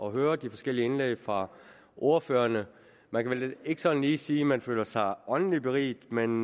at høre de forskellige indlæg fra ordførerne man kan vel ikke sådan lige sige at man føler sig åndeligt beriget men